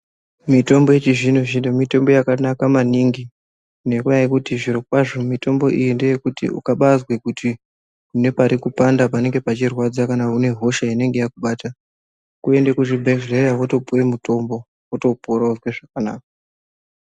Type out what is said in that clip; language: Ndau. Mitombo yechizvino zvino mitombo yakanaka maningi ngendaa yekuti zviro kwazvo mitombo iyi ngeyekuti ukange wazwa kuti une parikupanda, parikurwadza, kana kuti une hosha inenge yakubata kuende kuzvibhehlera wotopuwe mutombo, wotopora vogare zvakanaka.